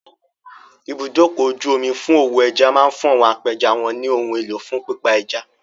Ibùdókọ̀-ojú-omi fún òwò ẹja máa fún àwọn apẹja wọn ní ohun elo fún pípa ẹja.